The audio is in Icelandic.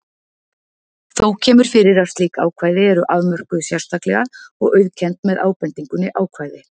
Þó kemur fyrir að slík ákvæði eru afmörkuð sérstaklega og auðkennd með ábendingunni ákvæði